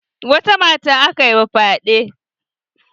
Wata mata aka yi ma fyaɗe?